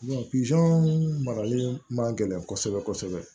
pizɔn marali ma gɛlɛn kɔsɔbɛ kɔsɔbɛ